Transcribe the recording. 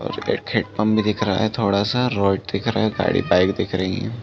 और एक हैंडपंप भी दिख रहा है थोड़ा सा। रोड दिख रहा है गाड़ी बाइक दिख रही है।